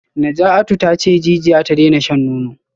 Najatu tace jijiya ta daina shan nono